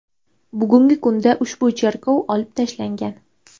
Bugungi kunda ushbu cheklov olib tashlangan.